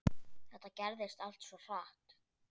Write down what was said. Þetta gerðist allt svo hratt.